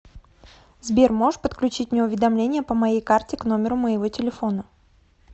сбер можешь подключить мне уведомления по моей карте к номеру моего телефона